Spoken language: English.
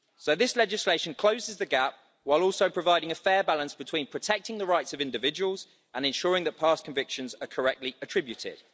This legislation closes the gap, while also providing a fair balance between protecting the rights of individuals and ensuring that past convictions are correctly attributed.